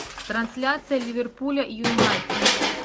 трансляция ливерпуля и юнайтед